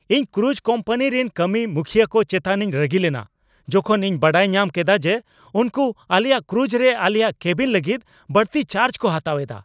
ᱤᱧ cruise company ᱨᱮᱱ ᱠᱟᱹᱢᱤᱼᱢᱩᱠᱷᱤᱭᱟᱹ ᱠᱚ ᱪᱮᱛᱟᱱᱤᱧ ᱨᱟᱹᱜᱤ ᱞᱮᱱᱟ ᱡᱚᱠᱷᱚᱱ ᱤᱧ ᱵᱟᱰᱟᱭ ᱧᱟᱢ ᱠᱮᱫᱟ ᱡᱮ ᱩᱱᱠᱩ ᱟᱞᱮᱭᱟᱜ ᱠᱨᱩᱡᱽᱨᱮ ᱟᱞᱮᱭᱟᱜ ᱠᱮᱵᱤᱱ ᱞᱟᱹᱜᱤᱫ ᱵᱟᱹᱲᱛᱤ ᱪᱟᱨᱡᱽ ᱠᱚ ᱦᱟᱛᱟᱣᱮᱫᱟ ᱾